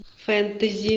фэнтези